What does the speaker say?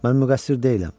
Mən müqəssir deyiləm.